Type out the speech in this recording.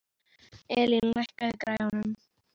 Elín, lækkaðu í græjunum.